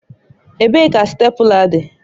Ebee ka stèpula dị?